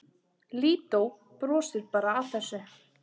Lídó brosir bara að þessu.